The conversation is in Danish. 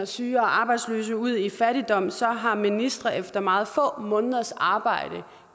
syge og arbejdsløse ud i fattigdom så har ministre efter meget få måneders arbejde